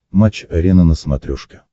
матч арена на смотрешке